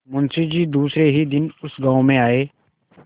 मुँशी जी दूसरे ही दिन उस गॉँव में आये